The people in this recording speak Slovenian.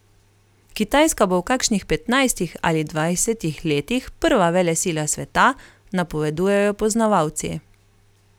Kitajska bo v kakšnih petnajstih ali dvajsetih letih prva velesila sveta, napovedujejo poznavalci.